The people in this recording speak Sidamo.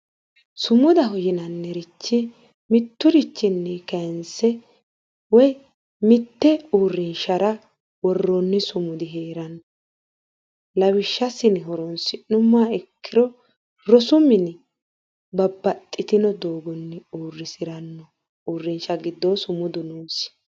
Sumudaho yinannirichi mitturichinni kaayiinse woyi mitte uurrinshara worroonni sumudi heranno lawishsha assine horonsi'nummoha ikkiro rosu mini babbaxitino doogonni uurisiranno uurrinshsha giddoo sumudu noosi.